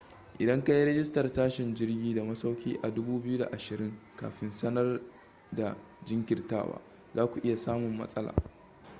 idan kayi rijistar tashin jirgi da masauki a 2020 kafin sanar da jinkirtawa zaku iya samun matsala